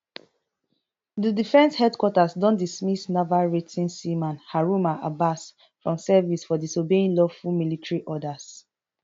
di defence headquarters don dismiss naval rating seaman haruna abbas from service for disobeying lawful military orders